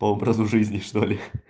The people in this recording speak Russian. по образу жизни что ли